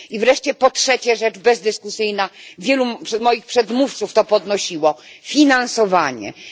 I wreszcie po trzecie rzecz bezdyskusyjna, wielu moich przedmówców to podnosiło finansowanie jest